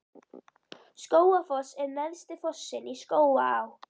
Skógafoss er neðsti fossinn í Skógaá.